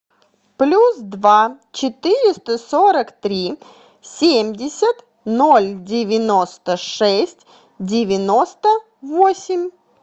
плюс два четыреста сорок три семьдесят ноль девяносто шесть девяносто восемь